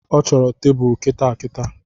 Ọ chọro tebulu kitaakitaa